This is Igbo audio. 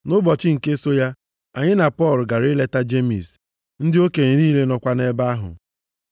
Nʼụbọchị nke so ya, anyị na Pọl gara ileta Jemis, ndị okenye niile nọkwa nʼebe ahụ.